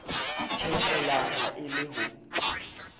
theohela ha e le ho